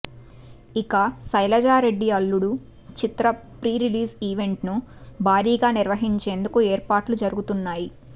ఇక శైలజారెడ్డి అల్లుడు చిత్ర pre release ఈవెంట్ను భారీగా నిర్వహించేందుకు ఏర్పాటు జరుగుతున్నాయి